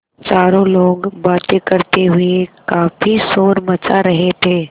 चारों लोग बातें करते हुए काफ़ी शोर मचा रहे थे